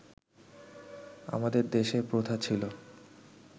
আমাদের দেশে প্রথা ছিল